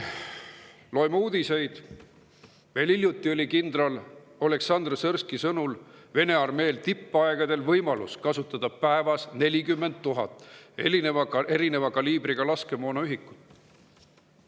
Loeme uudistest, et veel hiljuti oli kindral Oleksandr Sõrskõi sõnul Vene armeel tippajal võimalus kasutada päevas 40 000 erineva kaliibriga laskemoonaühikut.